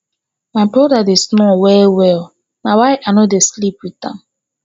my broda dey snore well well na why i no dey sleep wit am